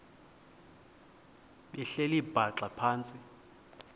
behleli bhaxa phantsi